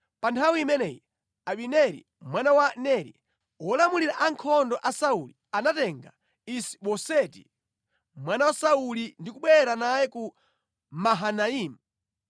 Pa nthawi imeneyi Abineri mwana wa Neri, wolamulira ankhondo a Sauli, anatenga Isi-Boseti mwana wa Sauli ndi kubwera naye ku Mahanaimu.